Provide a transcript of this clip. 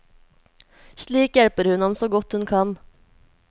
Slik hjelper hun ham så godt hun kan.